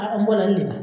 A mɔna nin de ma